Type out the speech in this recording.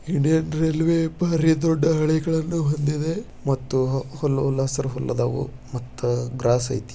Indian railway ಬಾರಿ ದೊಡ್ಡ ಹಳಿಗಳನ್ನ ಹೊಂದಿದೆ ಮತ್ತು ಹುಲ್ಲ ಹುಲ್ಲಾಸರು ಉಲ್ಲದವು ಮತ್ತು ಗ್ರಾಸ್ ಅಯ್ತೆ.